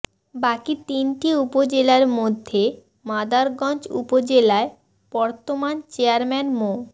বাকি তিনটি উপজেলার মধ্যে মাদারগঞ্জ উপজেলায় বর্তমান চেয়ারম্যান মো